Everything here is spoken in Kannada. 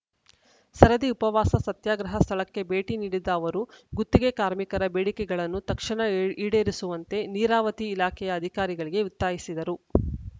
ಸರದಿ ಉಪವಾಸ ಸತ್ಯಾಗ್ರಹ ಸ್ಥಳಕ್ಕೆ ಭೇಟಿ ನೀಡಿದ್ದ ಅವರು ಗುತ್ತಿಗೆ ಕಾರ್ಮಿಕರ ಬೇಡಿಕೆಗಳನ್ನು ತಕ್ಷಣ ಇ ಈಡೇರಿಸುವಂತೆ ನೀರಾವತಿ ಇಲಾಖೆಯ ಅಧಿಕಾರಿಗಳಿಗೆ ಒತ್ತಾಯಿಸಿದರು